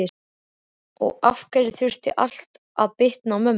Og af hverju þurfti allt að bitna á mömmu?